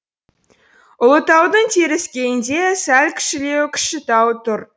ұлытаудың теріскейінде сәл кішілеу кішітау тұр